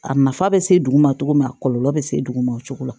A nafa bɛ se dugu ma cogo min a kɔlɔlɔ bɛ se duguma o cogo la